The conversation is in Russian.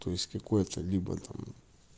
то есть какое-то либо там